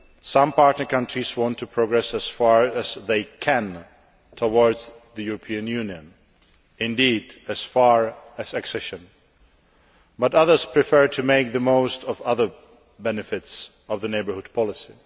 Some partner countries want to progress as far as they can towards the European Union indeed as far as accession but others prefer to make the most of other benefits of the Neighbourhood Policy.